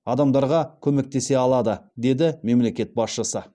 адамдарға көмектесе алады деді мемлекет басшысы